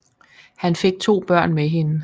Han fik to børn med hende